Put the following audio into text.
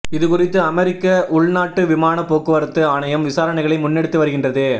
இது குறித்து அமெரிக்க உள்நாட்டு விமானப்போக்குவரத்து ஆணையம் விசாரனைகளை முன்னெடுத்து வருகின்றது